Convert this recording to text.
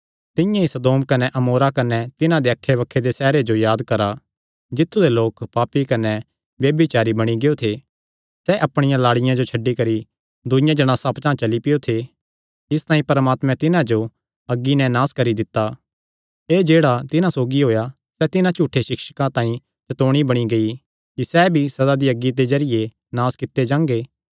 तिंआं ई सदोम कने अमोरा कने तिन्हां दे अक्खैबक्खे दे सैहरां जो याद करा जित्थु दे लोक पापी कने ब्यभिचारी बणी गियो थे सैह़ अपणियां लाड़ियां जो छड्डी करी दूईआं जणासां पचांह़ चली पैयो थे इसतांई परमात्मैं तिन्हां जो अग्गी नैं नास करी दित्ता एह़ जेह्ड़ा तिन्हां सौगी होएया सैह़ तिन्हां झूठे सिक्षकां तांई चतौणी बणी गेई कि सैह़ भी सदा दी अग्गी दे जरिये नास कित्ते जांगे